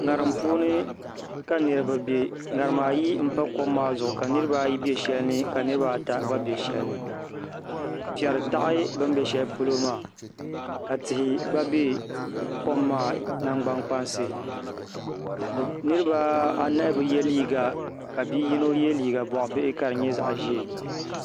ŋarim puuni ka niraba bɛ ŋarima ayi n pa kom maa zuɣu ka niraba ayi bɛ shɛli ni ka niraba ata gba bɛ shɛli ni piɛri taɣi bi ni bɛ shɛli polo maa ka tihi gba bɛ kom maa nangbani kpansi niraba anahi bi yɛ liiga ka bi yino yɛ liiga boɣa bihi ka di nyɛ zaɣ ʒiɛ